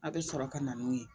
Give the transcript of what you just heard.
A bɛ sɔrɔ ka na n'u ye